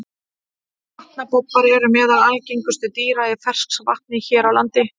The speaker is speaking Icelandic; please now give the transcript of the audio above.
Vatnabobbar eru meðal algengustu dýra í ferskvatni hér á landi.